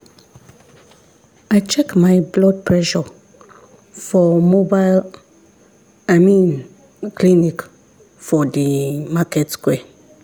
i check my blood pressure for mobile i mean clinic for the market square.